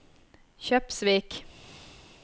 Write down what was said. Kjøpsvik